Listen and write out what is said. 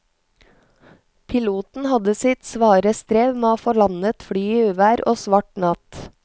Piloten hadde sitt svare strev med å få landet flyet i uvær og svart natt.